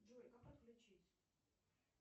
джой как отключить